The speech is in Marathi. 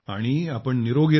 आणि आपण निरोगी रहा